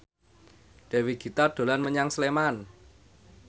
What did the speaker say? Dewi Gita dolan menyang Sleman